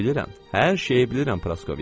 Hər şeyi bilirəm, Praskovya.